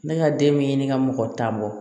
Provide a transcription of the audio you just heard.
Ne ka den mi ɲini ka mɔgɔ tan bɔ